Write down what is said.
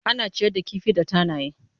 Ana ciyar da kifi da tanaye.